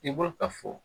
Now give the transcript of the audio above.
I b'o ka fɔ